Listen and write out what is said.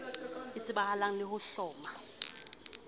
e tsebahalang le ho hloma